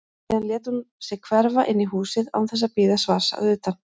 Síðan lét hún sig hverfa inn í húsið án þess að bíða svars að utan.